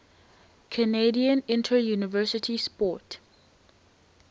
canadian interuniversity sport